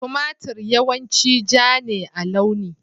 Tumatir yawanci ja ne a launi